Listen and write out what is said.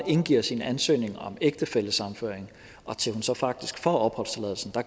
indgiver sin ansøgning om ægtefællesammenføring til hun så faktisk får opholdstilladelsen